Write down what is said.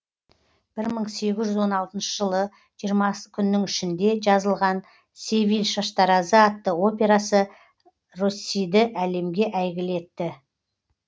бір мың сегіз жүз он алтыншы жылы жиырмасы күннің ішінде жазылған севиль шаштаразы атты операсы россиді әлемге әйгілі етті